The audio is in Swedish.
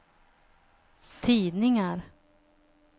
tidningar